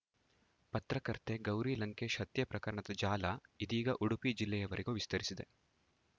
ಪತ್ರಕರ್ತೆ ಗೌರಿ ಲಂಕೇಶ್‌ ಹತ್ಯೆ ಪ್ರಕರಣದ ಜಾಲ ಇದೀಗ ಉಡುಪಿ ಜಿಲ್ಲೆವರೆಗೂ ವಿಸ್ತರಿಸಿದೆ